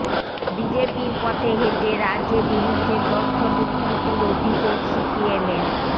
বিজেপির পথে হেঁটে রাজ্যে বিরুদ্ধে তথ্য বিকৃতির অভিযোগ সিপিএমের